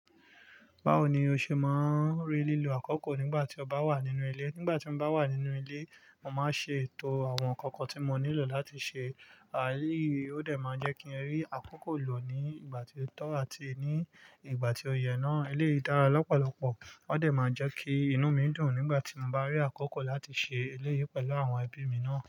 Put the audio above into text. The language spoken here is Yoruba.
Báwo ni o ṣe máa ń rí lílo àkókò nígbà tí o bá wà nínú ilé? Nígbà tí mo bá wà nínú ilé, mo màá ṣe ètò àwọn ǹkan kan tí mo nílò láti ṣe. Ó dẹ̀ máa jẹ́ kí n rí àkókò lò ní ìgbà tí ó tọ́ àti ní ìgbà tí ó yẹ náà. Eleyii dára lọ́pọ̀lọpọ̀. Ó dẹ̀ máa jẹ́ kí inú mí dùn nígbà tí mo bá rí àkókò láti ṣe eléyìí pẹ̀lú àwọn ẹbí mi náà.